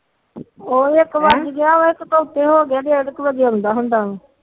ਉਹ ਇੱਕ ਬੱਜ ਗਿਆ ਇਕ ਤੋ ਉਤੇ ਹੋ ਗਿਆ ਡੇਢ ਕ ਬਜੇ ਆਉਂਦਾ ਹੁੰਦਾ